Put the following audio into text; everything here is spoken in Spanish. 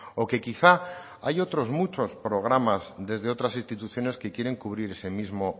o que quizá hay otros muchos programas desde otras instituciones que quieren cubrir ese mismo